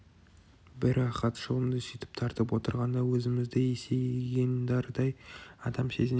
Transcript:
бір рақат шылымды сөйтіп тартып отырғанда өзімізді есейген дардай адам сезінеміз